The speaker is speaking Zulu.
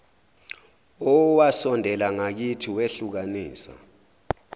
owasondela ngakithi wehlukanisa